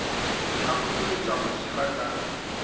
be a phopholetše mašela ka